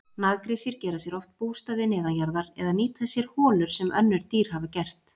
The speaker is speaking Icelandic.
Naggrísir gera sér oft bústaði neðanjarðar eða nýta sér holur sem önnur dýr hafa gert.